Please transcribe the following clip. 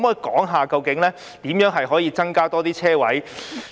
可否說說究竟如何可以增加更多車位？